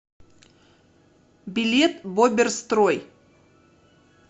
билет боберстрой